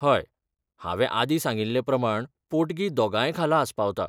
हय, हांवें आदीं सांगिल्ले प्रमाण पोटगी दोगांय खाला आस्पावता.